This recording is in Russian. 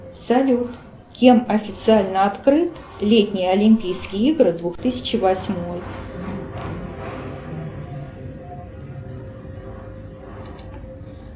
салют кем официально открыт летние олимпийские игры двух тысячи восьмой